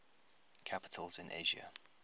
capitals in asia